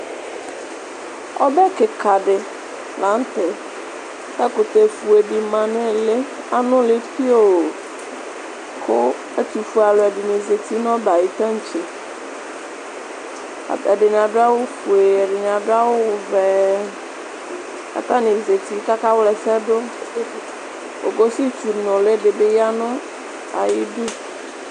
Ɔbɛ kika di la nʋ tɛ, kʋ ɛkʋtɛfue dima nʋ ili, anuli pioo Kʋ ɛtʋfuealu ɛdɩnɩ zǝti nʋ ɔbɛ yɛ ayʋ taŋtse Ata ɛdɩnɩ adu awufue, ɛdɩnɩ adu awuvɛ, kʋ atani zǝti kʋ akawlɛsɛ du Ogoshitsu nuli di bɩ ya nʋ ayʋ ɩdʋ